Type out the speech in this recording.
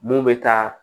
Mun bɛ taa